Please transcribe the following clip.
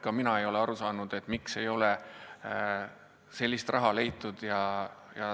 Ka mina ei ole aru saanud, kuidas ei ole suudetud seda raha leida.